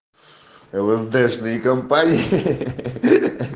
лсдешные компании